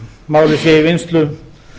málið sé í vinnslu